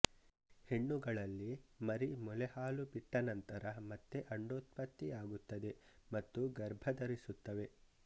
ಹೆಣ್ಣುಗಳಲ್ಲಿ ಮರಿ ಮೊಲೆ ಹಾಲು ಬಿಟ್ಟ ನಂತರ ಮತ್ತೆ ಅಂಡೋತ್ಪತ್ತಿಯಾಗುತ್ತದೆ ಮತ್ತು ಗರ್ಭಧರಿಸುತ್ತವೆ